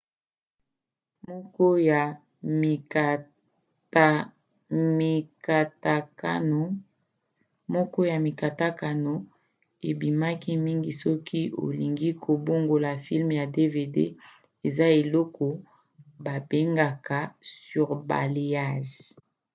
moko ya mikatakatano ebimaki mingi soki olingi kobongola filme na dvd eza eloko babengaka surbalayage